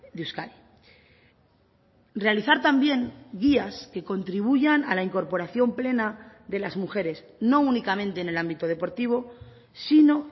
de euskadi realizar también guías que contribuyan a la incorporación plena de las mujeres no únicamente en el ámbito deportivo sino